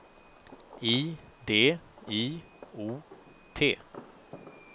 I D I O T